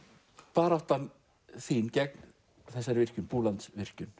baráttan þín gegn þessari virkjun Búlandsvirkjun